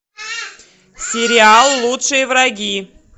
сериал лучшие враги